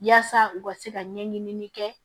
Yaasa u ka se ka ɲɛɲini kɛ